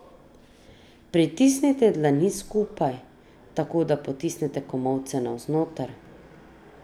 Pritisnite dlani skupaj, tako da potisnete komolce navznoter.